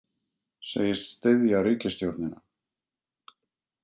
Segist styðja ríkisstjórnina